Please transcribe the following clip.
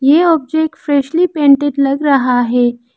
ये object freshly painted लग रहा है।